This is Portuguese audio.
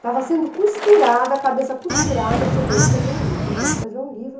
estava sendo costurada, a cabeça costurada, disse, eu vou escrever um livro, eu vou escrever um livro.